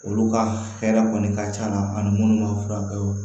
Olu ka hɛrɛ kɔni ka c'a la ani munnu b'a furakɛ